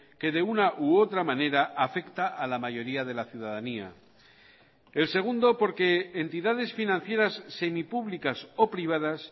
que de una u otra manera afecta a la mayoría de la ciudadanía el segundo porque entidades financieras semipúblicas o privadas